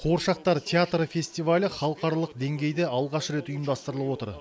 қуыршақтар театры фестивалі халықаралық деңгейде алғаш рет ұйымдастырылып отыр